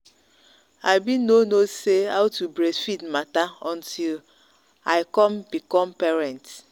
i been no no say how to breastfeed matter until i come become parent.